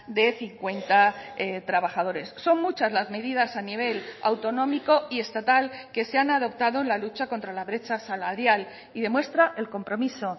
de cincuenta trabajadores son muchas las medidas a nivel autonómico y estatal que se han adoptado en la lucha contra la brecha salarial y demuestra el compromiso